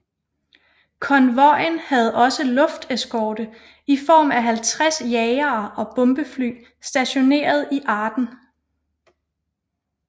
Konvojen havde også lufteskorte i form af 50 jagere og bombefly stationeret i Aden